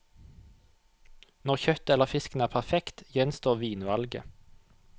Når kjøttet eller fisken er perfekt, gjenstår vinvalget.